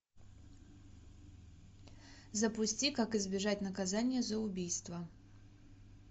запусти как избежать наказания за убийство